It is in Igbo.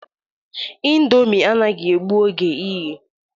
Ịndomi anaghị egbu oge iye